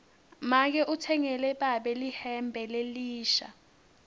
make utsengele babe lihembe lelisha